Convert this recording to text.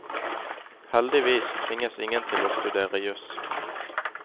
Heldigvis tvinges ingen til å studere jus.